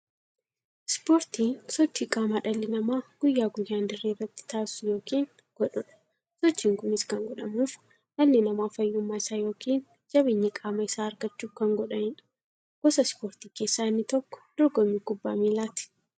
Ispoortiin sochii qaamaa dhalli namaa guyyaa guyyaan dirree irratti taasisu yookiin godhuudha. Sochiin kunis kan godhamuuf, dhalli namaa fayyummaa isaa yookiin jabeenya qaama isaa argachuuf kan godhaniidha. Gosa ispoortii keessaa inni tokko dorgommii kubbaa milaati.